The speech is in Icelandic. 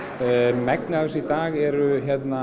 megnið af þessu í dag eru